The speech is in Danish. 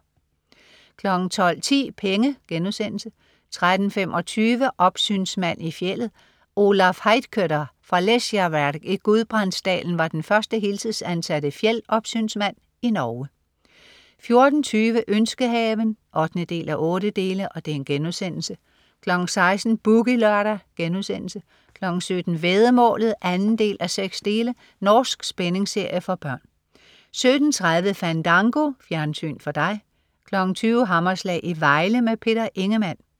12.10 Penge* 13.25 Opsynsmand i fjeldet. Olaf Heitkøtter fra Lesjaverk i Gudbrandsdalen var den første heltidsansatte fjeldopsynsmand i Norge 14.20 Ønskehaven 8:8* 16.00 Boogie Lørdag* 17.00 Væddemålet 2:6. Norsk spændingsserie for børn 17.30 Fandango. Fjernsyn for dig 20.00 Hammerslag i Vejle. Peter Ingemann